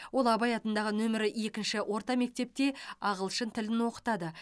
ол абай атындағы нөмірі екінші орта мектепте ағылшын тілін оқытады